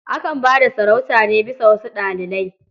Akan ba da sarauta ne bisa wasu dalilai.